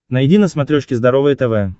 найди на смотрешке здоровое тв